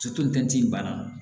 bannaw